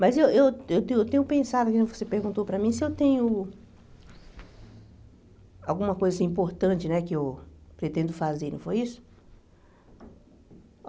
Mas eu eu eu tenho eu tenho pensado, mesmo que você perguntou para mim se eu tenho alguma coisa assim importante né que eu pretendo fazer, não foi isso?